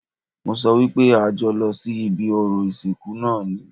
Mo sọ wípé a jọ lọ sí ibi orò ìsìnkú náà ni